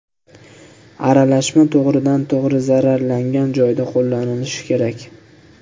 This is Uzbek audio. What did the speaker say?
Aralashma to‘g‘ridan to‘g‘ri zararlangan joyda qo‘llanilishi kerak.